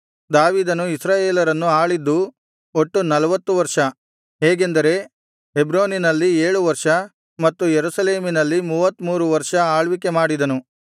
ದಾವೀದನು ಇಸ್ರಾಯೇಲರನ್ನು ಆಳಿದ್ದು ಒಟ್ಟು ನಲ್ವತ್ತು ವರ್ಷ ಹೇಗೆಂದರೆ ಹೆಬ್ರೋನಿನಲ್ಲಿ ಏಳು ವರ್ಷ ಮತ್ತು ಯೆರೂಸಲೇಮಿನಲ್ಲಿ ಮೂವತ್ತಮೂರು ವರ್ಷ ಆಳ್ವಿಕೆ ಮಾಡಿದನು